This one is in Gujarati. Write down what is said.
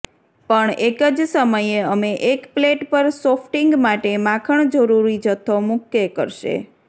પણ એક જ સમયે અમે એક પ્લેટ પર સોફ્ટિંગ માટે માખણ જરૂરી જથ્થો મૂકે કરશે